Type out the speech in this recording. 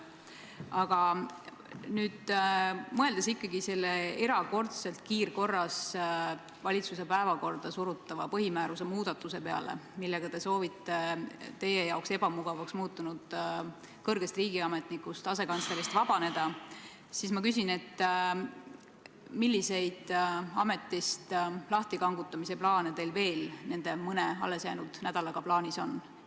Aga mõeldes ikkagi selle kiirkorras valitsuse päevakorda surutava põhimääruse muudatuse peale, millega te soovite vabaneda teile ebamugavaks muutunud kõrgest riigiametnikust, asekantslerist, ma küsin: milliseid ametist lahtikangutamise plaane teil veel nende mõne allesjäänud nädalaga plaanis on?